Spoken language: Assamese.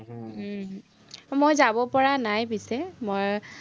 মই যাব পৰা নাই পিছে, মই